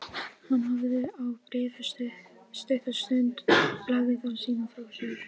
Við höfnuðum boðinu.